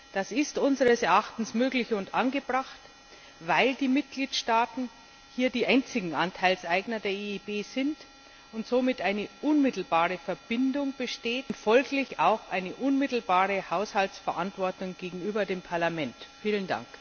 Das ist unseres Erachtens möglich und angebracht, weil die Mitgliedstaaten die einzigen Anteilseigner der EIB sind und somit eine unmittelbare Verbindung und folglich auch eine unmittelbare Haushaltsverantwortung gegenüber dem Parlament besteht. Vielen Dank!